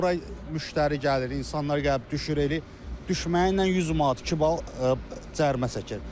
Bura müştəri gəlir, insanlar gəlib düşür, elə düşməyinlə 100 manat, iki bal cərimə çəkir.